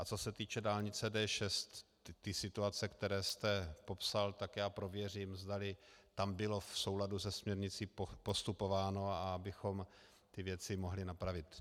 A co se týče dálnice D6, ty situace, které jste popsal, tak já prověřím, zdali tam bylo v souladu se směrnicí postupováno, abychom ty věci mohli napravit.